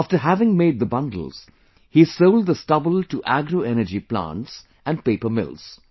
After having made the bundles, he sold the stubble to agro energy plants and paper mills